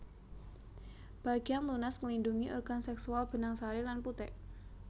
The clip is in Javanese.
Bagéan lunas nglindhungi organ sèksual benang sari lan putik